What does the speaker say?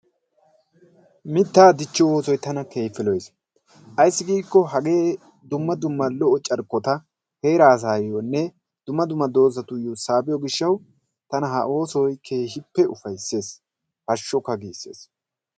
Mitta dichchiyoo oosoy tana keehippe lo''eessi ayssi giikko hagee dumma dumma lo''o carkkota heeraa asayyonne dumma dummadoozatuyyo saabbiyo gishshaw tana ha oosoy keehippe uaysses, hashshukka giissees.